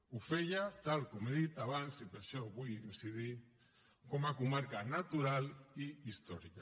ho feia tal com he dit abans i per això hi vull incidir com a comarca natural i històrica